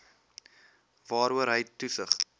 waaroor hy toesig